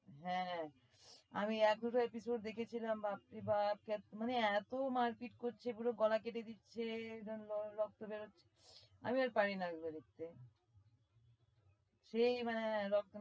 হ্যাঁ আমি এক episode দেখেছিলাম বাপ রে বাপ সেত~ মানে এতো মারপিট করছে পুরো গলা কেটে দিচ্ছে এই জন্য র~ রক্ত বের হচ্ছে আমি আর পারি না ওগুলো দেখতে সেই মানে রক্ত~